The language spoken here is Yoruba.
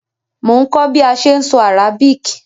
Mo n kó bi a se n so Arabic